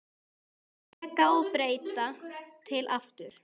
Reka og breyta til aftur?